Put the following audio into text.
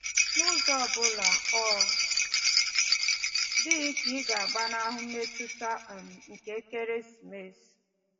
N'ụzọ obula, ọ dịghị ka ị ga-agbanahụ mmetụta um nke ekeresimesi.